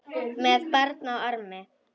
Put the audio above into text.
Með barn á armi?